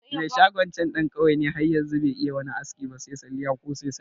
Me shagon can ɗan ƙauye ne har yanzu be iya wani aski ba se salliya ko saisaya